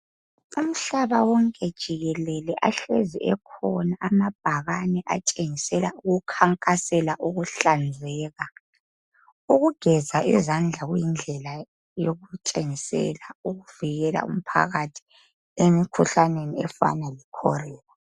Umhlaba wonke jikelele ahlezi ekhona amabhakane atshengisela ukukhankasela ukuhlanzeka. Ukugeza izandla kuyindlela yokutshengisela ukuvikela umphakathi emikhuhlaneni efana lekholera.